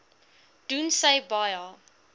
doen sy baie